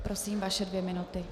Prosím, vaše dvě minuty.